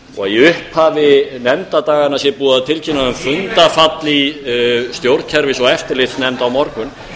og í upphafi nefndadaganna sé búið að tilkynna um fundarfall í stjórnskipunar og eftirlitsnefnd á morgun